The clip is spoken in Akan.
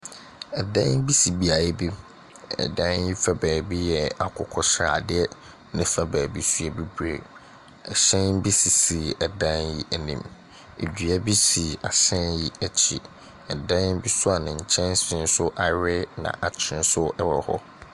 Ɛdan bi si beayɛ bi. Ɛdan yi fa baabi yɛ akokosradɛ, ne fa baabi nso yɛ bibire. Ɛhyɛn bi sisi ɛdn yi anim. Ɛdua bi si ahyɛn yi akyi. Ɛdan bi nso a ne nkyɛnsee awe naakye nso ɛwɔ hɔ.